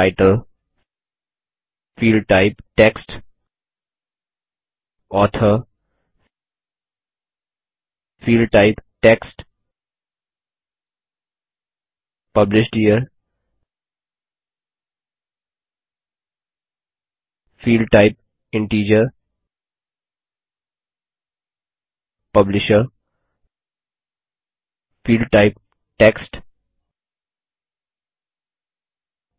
title field type text author field type text Published year field type integer publisher field type text